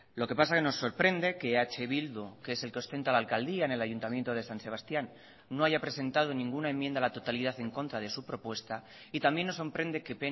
lo que pasa que nos sorprende que eh bildu que es el que ostenta la alcaldía en el ayuntamiento de san sebastian no haya presentado ninguna enmienda a la totalidad en contra de su propuesta y también nos sorprende que